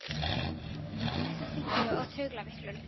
Hann kúgaðist af þynnku og taugaveiklun.